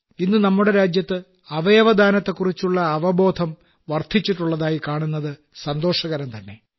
ഇന്ന് നമ്മുടെ രാജ്യത്ത് അവയവദാനത്തെക്കുറിച്ചുള്ള അവബോധം വർദ്ധിച്ചിട്ടുള്ളതായി കാണുന്നത് സന്തോഷകരംതന്നെ